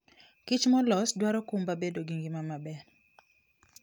Kich molos dwaro kumba bedo gi ngima maber.